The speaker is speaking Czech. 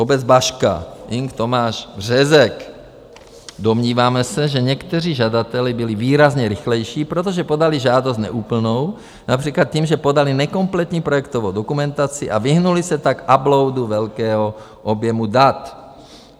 Obec Baška, Ing. Tomáš Břežek: Domníváme se, že někteří žadatelé byli výrazně rychlejší, protože podali žádost neúplnou, například tím, že podali nekompletní projektovou dokumentaci, a vyhnuli se tak uploadu velkého objemu dat.